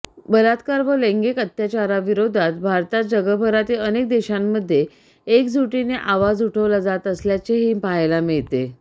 बलात्कार व लैंगिक अत्याचारांविरोधात भारतासह जगभरातील अनेक देशांमध्ये एकजुटीने आवाज उठवला जात असल्याचेही पहायला मिळते